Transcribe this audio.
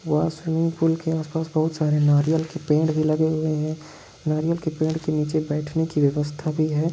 वहां swimming pool के आस पास बहुत सारे नारियल के पेड़ भी लगे हुए है नारियल के पेड़ के नीचे बैठने की व्यवस्था भी है।